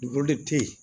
te yen